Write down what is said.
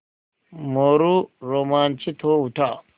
मोरू रोमांचित हो उठा